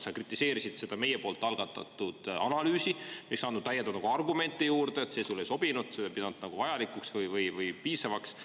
Sa kritiseerisid seda meie poolt algatatud analüüsi, mis … argumente juurde, see sulle ei sobinud, seda ei pidanud vajalikuks või piisavaks.